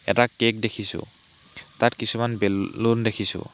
এটা কেক দেখিছোঁ তাত কিছুমান বে লুন দেখিছোঁ।